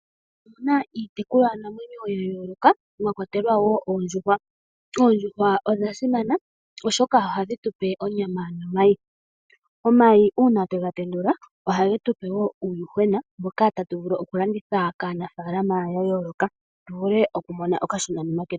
Otu na iitekulwanamwenyo ya yooloka mwa kwatelwa wo oondjuhwa. Oondjuhwa odha simana, oshoka ohadhi tu pe onyama nomayi. Uuna omayi twe ga tendula, ohage tu pe wo uuyuhwena mboka tatu vulu okulanditha kaanafaalama ya yooloka tu vule oku mona okashonanima ketu.